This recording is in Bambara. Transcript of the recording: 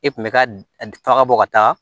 E kun bɛ ka bɔ ka taa